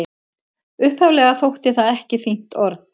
Upphaflega þótti það ekki fínt orð.